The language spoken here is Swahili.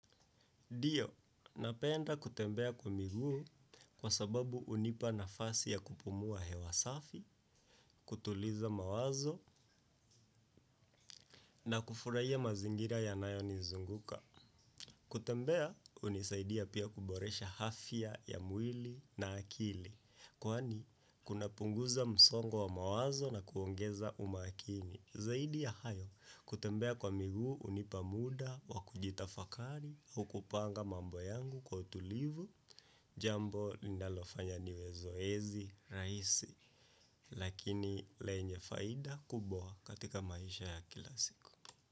Dio, napenda kutembea kwa miguu kwa sababu hunipa nafasi ya kupumua hewa safi, kutuliza mawazo na kufurahia mazingira yanayonizunguka. Kutembea, hunisaidia pia kuboresha hafya ya mwili na akili, kwani kunapunguza msongo wa mawazo na kuongeza umakini. Zaidi ya hayo kutembea kwa miguu hunipa muda wa kujitafakari au kupanga mambo yangu kwa utulivu jambo ninalofanya niwezoezi rahisi lakini lenye faida kubwa katika maisha ya kila siku.